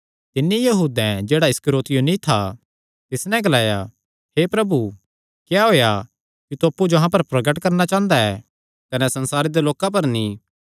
तिन्नी यहूदैं जेह्ड़ा इस्करियोती नीं था तिस नैं ग्लाया हे प्रभु क्या होएया कि तू अप्पु जो अहां पर प्रगट करणा चांह़दा ऐ कने संसारे दे लोकां पर नीं